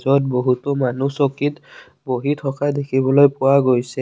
য'ত বহুতো মানুহ চকীত বহি থকা দেখিবলৈ পোৱা গৈছে।